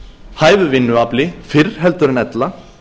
hæfu vinnuafli fyrr heldur en ella